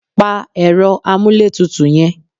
Pa ẹ̀rọ amúlétutù yẹn!